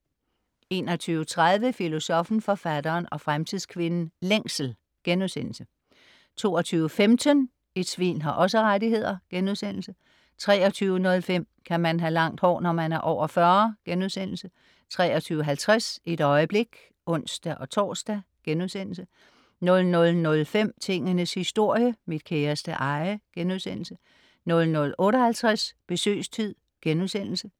21.30 Filosoffen, Forfatteren og Fremtidskvinden - Længsel* 22.15 Et svin har også rettigheder* 23.05 Kan man have langt hår, når man er over 40?* 23.50 Et øjeblik (ons-tors)* 00.05 Tingenes historie - mit kæreste eje* 00.58 Besøgstid*